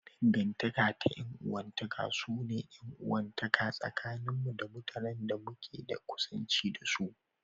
Dangantaka ta 'yan uwantaka su ne 'yan uwantaka tsakanin mu da mutanen da muke da kusanci da su.